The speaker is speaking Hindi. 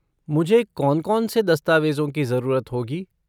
मुझे कौन कौन से दस्तावेज़ों की ज़रूरत होगी?